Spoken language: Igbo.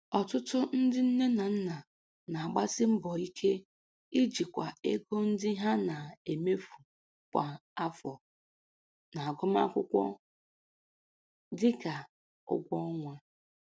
Ọtụtụ ndị nne na nna na-agbasi mbọ ike ijikwa ego ndị ha na-emefu kwa afọ n'agụmakwụkwọ, dị ka ụgwọ ọnwa.